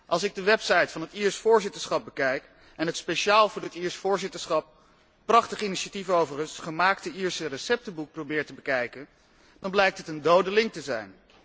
Als ik de website van het Iers voorzitterschap bekijk en het speciaal voor dit Iers voorzitterschap prachtig initiatief overigens gemaakte Ierse receptenboek probeer te bekijken, dan blijkt het een dode link te zijn.